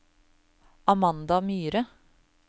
Amanda Myhre